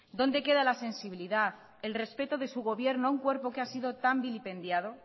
dónde queda la sensibilidad el respeto de su gobierno a un cuerpo que ha sido tan vilipendiado